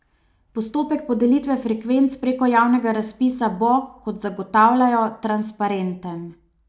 Postopek podelitve frekvenc preko javnega razpisa bo, kot zagotavljajo, transparenten.